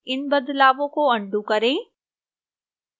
इन बदलावों को अन्डू करें